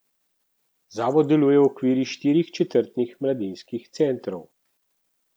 Zavod deluje v okviru štirih četrtnih mladinskih centrov.